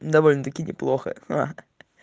довольно таки неплохо ха ха